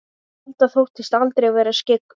Alda þóttist aldrei vera skyggn.